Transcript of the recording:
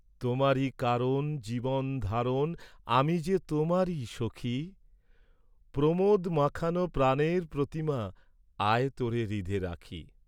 তোমারি কারণ জীবন ধারণ, আমি যে তােমারি, সখি, প্রমােদ মাখানো প্রাণের প্রতিমা, আয় তােরে হৃদে রাখি।